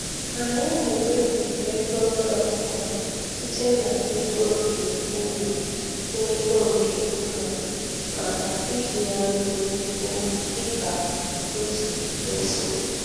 Anyị na-ewepụ ego nri okụkọ sịte n'ego nke ụlọ n'ego nke ụlọ maka iji ya mee ie dịkao si kwesị.